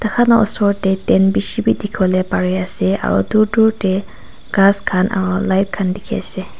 khan la usor tey tent beshe beh dekhe pole bare ase aro tu tur tey khass khan aro light khan dekhe ase.